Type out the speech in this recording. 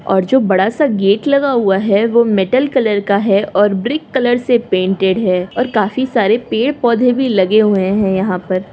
और जो बड़ा सा गेट लगा हुआ है वह मेटल कलर का है और ब्रिक कलर से पेंटेड है काफी सारे पेड़ पौधे भी लगे हुए हैं। यहाँ पर --